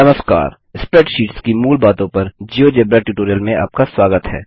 नमस्कार स्प्रैडशीट्स की मूल बातों पर जियोजेब्रा ट्यूटोरियल में आपका स्वागत है